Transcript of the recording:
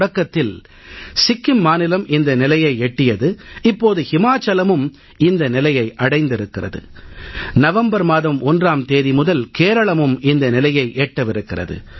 தொடக்கத்தில் சிக்கிம் மாநிலம் இந்த நிலையை எட்டியது இப்போது இமாச்சலமும் இந்த நிலையை அடைந்திருக்கிறது நவம்பர் மாதம் 1ஆம் தேதி முதல் கேரளமும் இந்த நிலையை எட்டவிருக்கிறது